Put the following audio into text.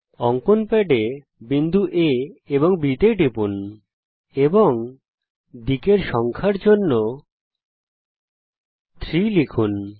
অঙ্কন প্যাডে বিন্দু আ B তে টিপুন এবং দিকের সংখ্যার জন্য 3 লিখুন